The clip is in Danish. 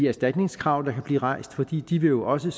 erstatningskrav der kan blive rejst fordi de jo også